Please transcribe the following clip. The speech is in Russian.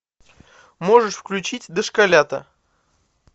можешь включить дошколята